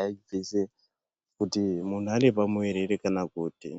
aibvise kuti muntu ane pamuviri ere kana kuti.